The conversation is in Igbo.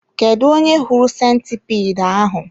Kedụ onye hụrụ sentipiid ahụ?